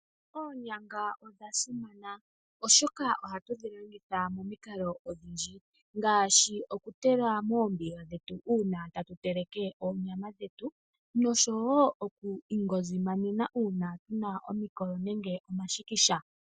Oonyanga odha simana oshoka ohatu dhi longitha momikalo odhindji. Ngaashi okutula moombiga dhetu uuna tatu teleke oonyama dhetu nosho wo oku inyukumina uuna tuna omikolo nenge omashikisha.